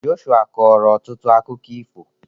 Joshua kọọrọ ọtụtụ akụkọ ifo.